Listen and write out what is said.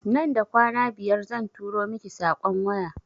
Nan da kwana biyar zan turo miki saƙon waya